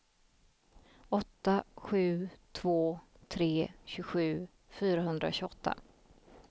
åtta sju två tre tjugosju fyrahundratjugoåtta